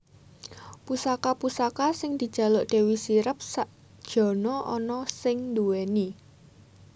Pusaka pusaka sing dijaluk Dewi Sirep sak jana ana sing duwéni